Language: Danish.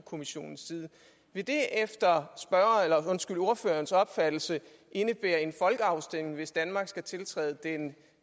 kommissionens side vil det efter ordførerens opfattelse indebære en folkeafstemning hvis danmark skal tiltræde den